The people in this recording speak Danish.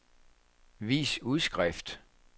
vis udskrift